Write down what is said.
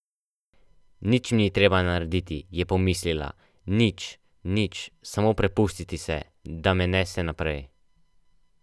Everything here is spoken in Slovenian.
Nič mi ni treba narediti, je pomislila, nič, nič, samo prepustiti se, da me nese naprej.